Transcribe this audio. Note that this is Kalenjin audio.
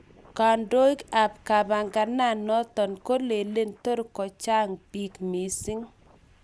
Kondoig ap kambaganoto kolelen tor kochang pik mising